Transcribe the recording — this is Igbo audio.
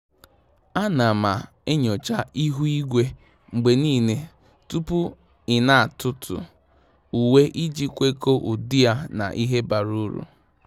À nà m enyocha ihu igwe mgbe nìile tupu ị́ nà-átụ́tụ́ uwe iji kwekọ́ọ ụ́dị́ yá na ìhè bara uru.